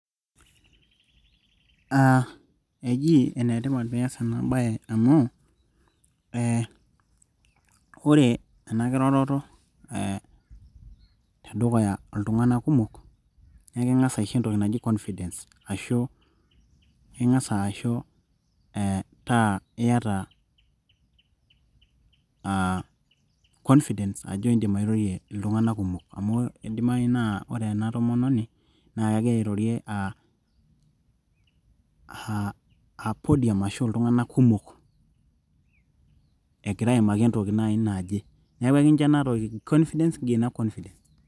aa eji enetipat pee iyas ena bae amu, ee ore enakiroroto tedukuya iltunganak kumok naa ekincho entoki naji confidence ,amu ore ena tomononi naa kegira airori podium naaji naje, neeku ekincho ena igaina confidence .